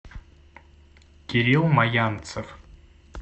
кирилл маянцев